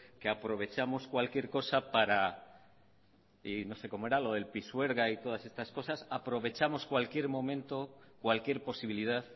que ha aprovechamos cualquier cosa para y no sé cómo era lo de pisuerga y todas estas cosas aprovechamos cualquier momento cualquier posibilidad